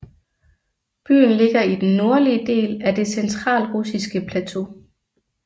Byen ligger i den nordlige del af Det centralrussiske plateau